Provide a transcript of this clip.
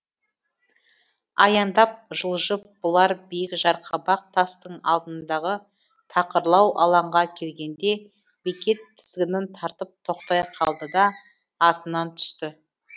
аяңдап жылжып бұлар биік жарқабақ тастың алдындағы тақырлау алаңға келгенде бекет тізгінін тартып тоқтай қалды да атынан түсті